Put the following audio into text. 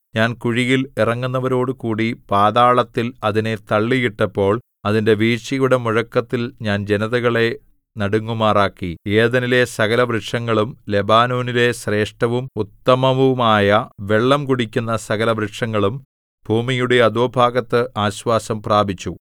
ഞാൻ കുഴിയിൽ ഇറങ്ങുന്നവരോടുകൂടി പാതാളത്തിൽ അതിനെ തള്ളിയിട്ടപ്പോൾ അതിന്റെ വീഴ്ചയുടെ മുഴക്കത്തിൽ ഞാൻ ജനതകളെ നടുങ്ങുമാറാക്കി ഏദെനിലെ സകലവൃക്ഷങ്ങളും ലെബാനോനിലെ ശ്രേഷ്ഠവും ഉത്തമവുമായ വെള്ളം കുടിക്കുന്ന സകലവൃക്ഷങ്ങളും ഭൂമിയുടെ അധോഭാഗത്ത് ആശ്വാസം പ്രാപിച്ചു